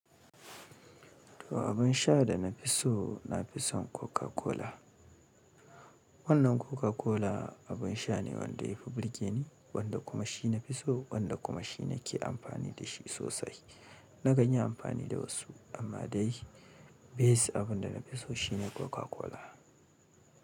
Abun sha da na fi so, na fi son Coca-Cola. Wannan Coca-Cola, abun sha ne wanda ya fi burge ni, wanda kuma shi na fi so, wanda kuma shi nake amfani da shi sosai. Na kanyi amfani da wasu, amma dai best abin da na fi so shine Coca-Cola.